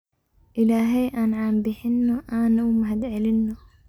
Illahey an caanbixino ana umahadcelino.